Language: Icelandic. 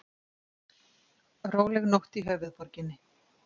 Róleg nótt í höfuðborginni